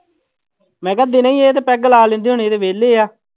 ਮੈਂ ਕਿਹਾ ਦਿਨੇ ਹੀ ਇਹ ਤਾਂ ਪੈਗ ਲਾ ਲੈਂਦੇ ਹੋਣੇ ਵਿਹਲੇ ਆ।